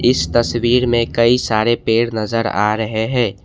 इस तस्वीर में कई सारे पेड़ नजर आ रहे हैं।